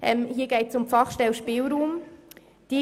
Hier geht es um die Fachstelle Spielraum Bern.